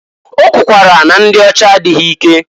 O kwukwara na ndị ọcha adịghị ike.